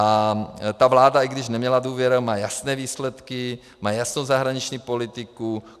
A ta vláda, i když neměla důvěru, má jasné výsledky, má jasnou zahraniční politiku.